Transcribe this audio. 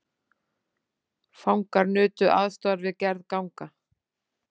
Fangar nutu aðstoðar við gerð ganga